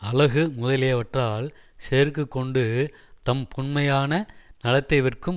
அழகு முதலியவற்றால் செருக்கு கொண்டு தம் புன்மையான நலத்தை விற்கும்